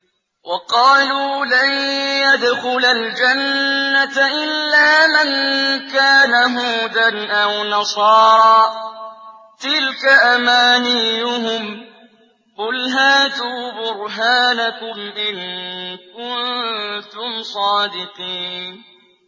وَقَالُوا لَن يَدْخُلَ الْجَنَّةَ إِلَّا مَن كَانَ هُودًا أَوْ نَصَارَىٰ ۗ تِلْكَ أَمَانِيُّهُمْ ۗ قُلْ هَاتُوا بُرْهَانَكُمْ إِن كُنتُمْ صَادِقِينَ